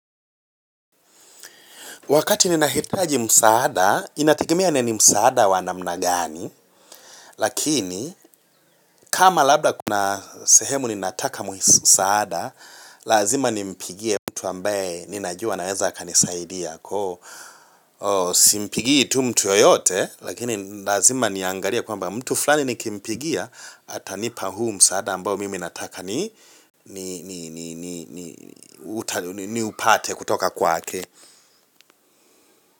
Wakati ninahitaji msaada, inategemea ne ni msaada wa namna gani. Lakini, kama labda kuna sehemu ninataka msaada, lazima nimpigie mtu ambaye ninajua anaeza akanisaidia. Simpigii tu mtu yoyote, lakini lazima niangalie kwamba mtu fulani nikimpigia, atanipa huu msaada ambao mimi nataka niupate kutoka kwaake.